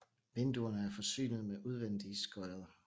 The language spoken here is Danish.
Vinduerne er forsynet med udvendige skodder